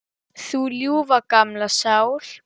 Þú ljúfa, gamla sál.